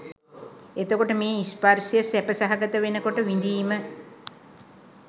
එතකොට මේ ස්පර්ශය සැප සහගත වෙන කොට විඳීම